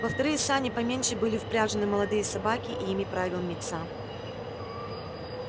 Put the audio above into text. во вторые сани поменьше были впряжены молодые собаки и ими правил мит са